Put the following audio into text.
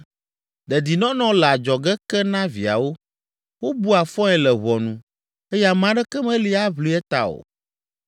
Dedinɔnɔ le adzɔge ke na viawo, wobua fɔe le ʋɔnu eye ame aɖeke meli aʋli eta o.